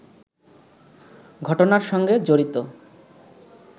ঘটনার সঙ্গে জড়িত